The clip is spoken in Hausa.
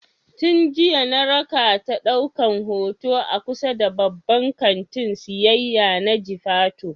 Tin jiya na rakata ɗaukan hoto a kusa da babban kantin siyayya na jifatu